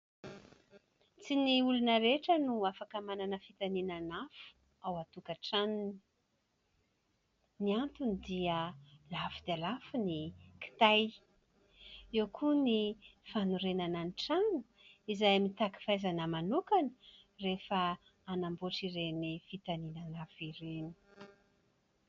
Tsy ny olona rehetra no afaka manana fitaninana afo ao an-tokantranony, ny antony dia lafo dia lafo ny kitay, eo koa ny fanorenana ny tranony, izay mitaky fahaizana manokana rehefa hanamboatra ireny fitaninana afo ireny.